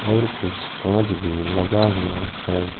और कुछ कांच भी लगा हुआ है।